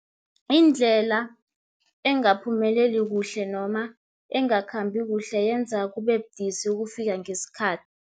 Indlela engaphumeleli kuhle, noma engakhambi kuhle, yenza kube budisi ukufika ngesikhathi.